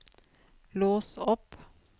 lås opp